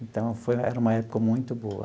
Então, foi era uma época muito boa.